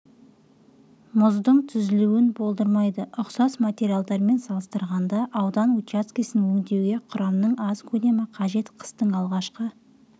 мұздың түзілуін болдырмайды ұқсас материалдармен салыстырғанда аудан учаскесін өңдеуге құрамның аз көлемі қажет қыстың алғашқы